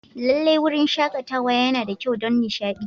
Lallai, wurin shakatawa yana da kyau don nishaɗi.